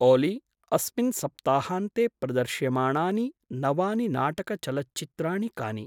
ओली अस्मिन् सप्ताहान्ते प्रदर्श्यमाणानि नवानि नाटकचलच्चित्राणि कानि?